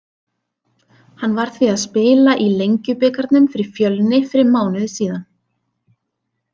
Hann var því að spila í Lengjubikarnum fyrir Fjölni fyrir mánuði síðan.